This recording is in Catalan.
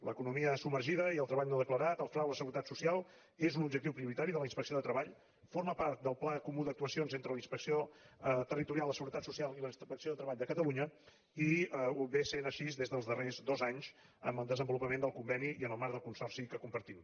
l’economia submergida i el treball no declarat el frau a la seguretat social són un objectiu prioritari de la inspecció de treball formen part del pla comú d’actuacions entre la inspecció territorial de la seguretat social i la inspecció de treball de catalunya i és així des dels darrers dos anys amb el desenvolupament del conveni i en el marc del consorci que compartim